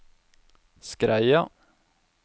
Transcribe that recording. Skreia